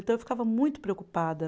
Então, eu ficava muito preocupada.